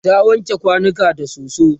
ta wanke kwanukan da soso